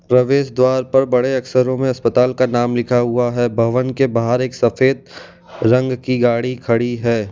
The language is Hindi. प्रवेश द्वार पर बड़े अक्षरों में अस्पताल का नाम लिखा हुआ है भवन के बाहर एक सफेद रंग की गाड़ी खड़ी है।